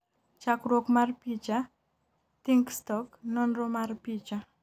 chakruok mar picha, THINKSTOCK ,nonro mar picha